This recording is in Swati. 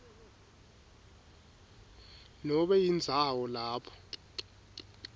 nobe indzawo lapho